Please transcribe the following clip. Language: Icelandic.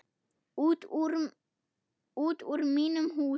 Út úr mínum húsum!